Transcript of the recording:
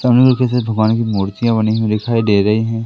सामने में किसी दुकान की मूर्तियां बनी हुई दिखाई दे रही हैं।